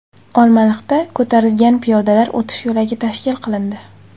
Olmaliqda ko‘tarilgan piyodalar o‘tish yo‘lagi tashkil qilindi.